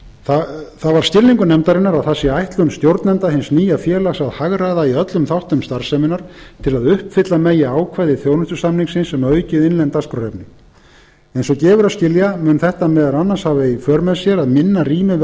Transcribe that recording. það var skilningur nefndarinnar að það sé ætlun stjórnenda hins nýja félags að hagræða í öllum þáttum starfseminnar til að uppfylla megi ákvæði þjónustusamningsins um aukið innlent dagskrárefni eins og gefur að skilja mun þetta meðal annars hafa í för með sér að minna rými